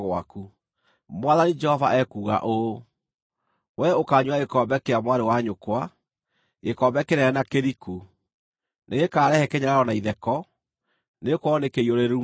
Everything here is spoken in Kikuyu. “Mwathani Jehova ekuuga ũũ: “Wee ũkaanyuĩra gĩkombe kĩa mwarĩ wa nyũkwa, gĩkombe kĩnene na kĩriku; nĩgĩkarehe kĩnyararo na itheko, nĩgũkorwo nĩkĩiyũrĩrĩru mũno.